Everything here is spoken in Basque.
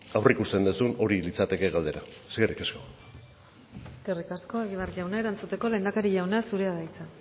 aurreikusten duzu hori litzateke galdera eskerrik asko eskerrik asko egibar jauna erantzuteko lehendakari jauna zurea da hitza